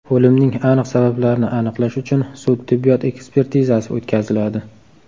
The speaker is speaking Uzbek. O‘limning aniq sabablarini aniqlash uchun sud-tibbiyot ekspertizasi o‘tkaziladi.